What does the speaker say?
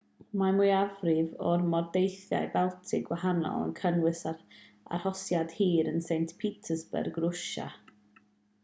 mae'r mwyafrif o'r mordeithiau baltig gwahanol yn cynnwys arhosiad hir yn st petersburg rwsia